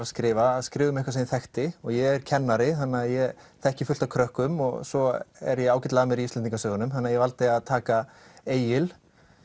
að skrifa að skrifa um eitthvað sem ég þekkti ég er kennari þannig að ég þekki fullt af krökkum og svo er ég ágætlega að mér í Íslendingasögunum þannig að ég valdi að taka Egil